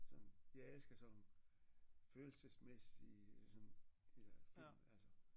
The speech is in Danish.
Sådan jeg elsker sådan nogle følelsesmæssige sådan de der film altså